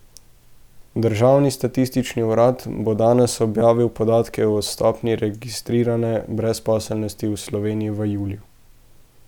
Državni statistični urad bo danes objavil podatke o stopnji registrirane brezposelnosti v Sloveniji v juliju.